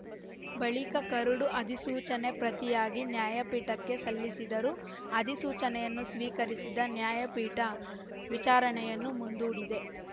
ಬಳಿಕ ಕರಡು ಅಧಿಸೂಚನೆ ಪ್ರತಿಯನ್ನು ನ್ಯಾಯಪೀಠಕ್ಕೆ ಸಲ್ಲಿಸಿದರು ಅಧಿಸೂಚನೆಯನ್ನು ಸ್ವೀಕರಿಸಿದ ನ್ಯಾಯಪೀಠ ವಿಚಾರಣೆಯನ್ನು ಮುಂದೂಡಿದೆ